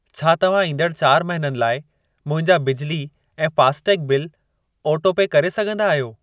छा तव्हां ईंदड़ चारि महिननि लाइ मुंहिंजा बिजली ऐं फ़ास्टैग बिल ऑटोपे करे सघंदा आहियो?